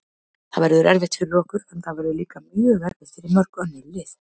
Það verður erfitt fyrir okkur, en það verður líka erfitt fyrir mörg önnur lið.